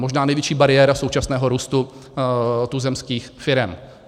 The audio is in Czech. Možná největší bariéra současného růstu tuzemských firem.